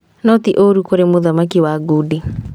No ti ũru kũrĩ mũthaki wa ngundi